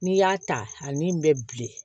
N'i y'a ta ani min bɛ bilen